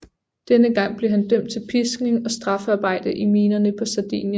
Denne gang blev han dømt til piskning og straffearbejde i minerne på Sardinien